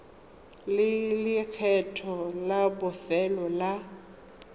le lekgetho la bofelo la